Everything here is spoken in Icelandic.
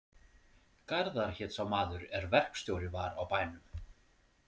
Garðar hét sá maður er verkstjóri var á bænum.